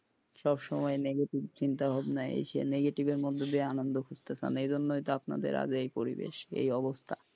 সব সময় নেগেটিভ চিন্তা ভাবনা আইসে নেগেটিভের মধ্যে দিয়ে আনন্দ খুজতে চান, এই জন্যই তো আপনা দের আজ এই পরিবেশ এই অবস্থা,